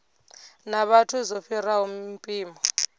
na vhathu zwo fhiraho mpimo